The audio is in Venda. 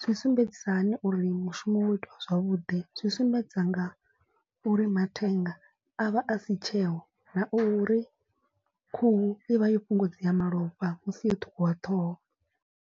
zwi sumbedzisa hani uri mushumo wo itiwa zwavhuḓi. Zwi sumbedzisa nga uri mathenga a vha a si tsheho na uri khuhu i vha yo fhungudzea malofha musi yo ṱhukhuwa ṱhoho.